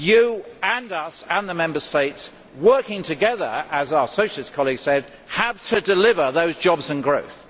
You, we and the Member States, working together, as our Socialist colleague said, have to deliver those jobs and that growth.